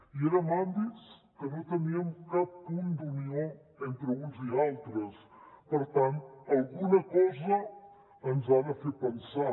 i era en àmbits que no teníem cap punt d’unió entre uns i altres per tant alguna cosa ens ha de fer pensar